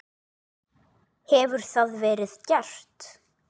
Hefur það verið gert?